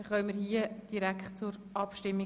Somit kommen wir direkt zur Abstimmung.